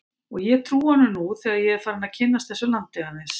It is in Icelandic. Og ég trúi honum nú þegar ég er farinn að kynnast þessu landi aðeins.